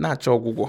na achọ ọgwụgwọ